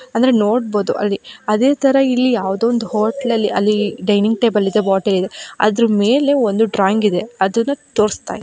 ಅಂದ್ರೆ ನೋಡಬಹುದು ಅಲ್ಲಿ ಅದೆ ತರ ಇಲ್ಲಿ ಯಾವದೋ ಒಂದು ಹೋಟೆಲ್ ಅಲ್ಲಿ ಡೈನ್ನಿಂಗ್ ಟೇಬಲ್ ಇದೆ ಬೊಟ್ಲ್ ಇದೆ ಅದ್ರ ಮೇಲೆ ಒಂದು ಡ್ರಾಯಿಂಗ್ ಇದೆ ಅದನ್ನ ತೋರಿಸ್ತಾಯಿ--